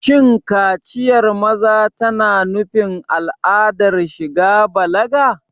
Shin kaciyar maza tana nufin al'adar shiga balaga?